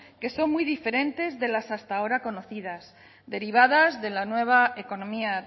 que son muy diferentes de las hasta ahora conocidas derivadas de la nueva economía